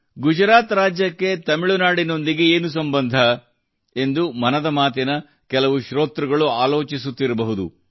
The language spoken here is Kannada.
ಗುಜರಾತ್ ರಾಜ್ಯಕ್ಕೆ ತಮಿಳುನಾಡಿನೊಂದಿಗೆ ಏನು ಸಂಬಂಧ ಎಂದು ಮನದ ಮಾತಿನ ಕೆಲವು ಶ್ರೋತೃಗಳು ಆಲೋಚಿಸುತ್ತಿರಬಹುದು